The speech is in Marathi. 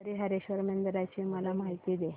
हरीहरेश्वर मंदिराची मला माहिती दे